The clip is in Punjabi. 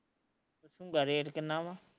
ਪੁੱਛੂਗਾ ਰੇਟ ਕਿਨਾ ਵਾ